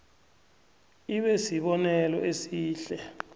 ibe sibonelo esihle